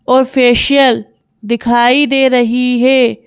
Official दिखाई दे रही है।